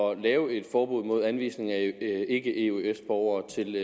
at lave et forbud mod anvisning af ikke eøs borgere til